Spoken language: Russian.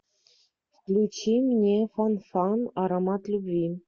включи мне фанфан аромат любви